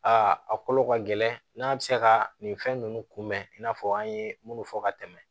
Aa a kolo ka gɛlɛn n'a bɛ se ka nin fɛn ninnu kunbɛn i n'a fɔ an ye minnu fɔ ka tɛmɛ